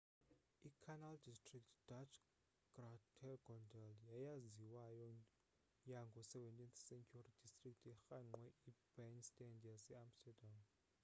i-canal district dutch: grachtengordel yeyaziwayo yango 17th-century district erhangqwe i-binnenstad yase-amsterdam